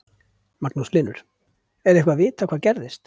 Magnús Hlynur: Er eitthvað vitað hvað gerðist?